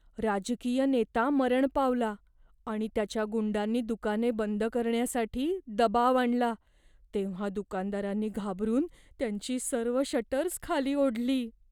राजकीय नेता मरण पावला आणि त्याच्या गुंडांनी दुकाने बंद करण्यासाठी दबाव आणला तेव्हा दुकानदारांनी घाबरून त्यांची सर्व शटर्स खाली ओढली.